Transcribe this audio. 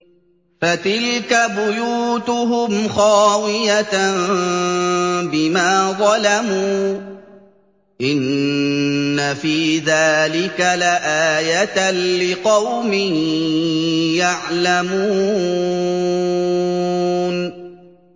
فَتِلْكَ بُيُوتُهُمْ خَاوِيَةً بِمَا ظَلَمُوا ۗ إِنَّ فِي ذَٰلِكَ لَآيَةً لِّقَوْمٍ يَعْلَمُونَ